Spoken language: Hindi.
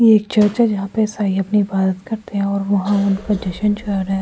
ये एक चर्च है जहां पर ईसाई अपनी इबादत करते हैं और वहां उनका जशन चल रहा है।